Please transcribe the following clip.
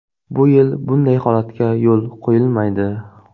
Bu yil bunday holatga yo‘l qo‘yilmaydi.